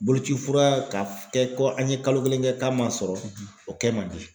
Boloci fura k'a kɛ ko an ye kalo kelen kɛ k'a man sɔrɔ o kɛ man di.